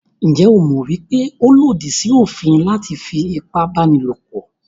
Njẹ́ o mọ̀ wípé ó lòdì sí òfin láti fí ipábánilòpọ̀?